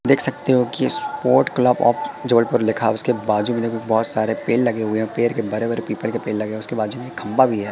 देख सकते हो कि स्पोर्ट क्लब ऑफ जबलपुर लिखा उसके बाजू में देखो बहुत सारे पेड़ लगे हुए हैं पेड़ के बड़े बड़े पीपल के पेड़ लगे हुए उसके बाजू में एक खंभा भी है।